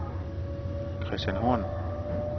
Christian Horn